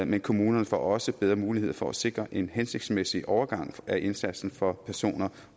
men kommunerne får også bedre mulighed for at sikre en hensigtsmæssig overgang af indsatsen for personer